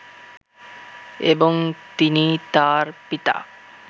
এবং তিনি তার পিতা